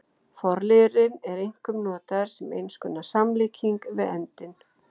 Forliðurinn er einkum notaður sem eins konar samlíking við eldinn.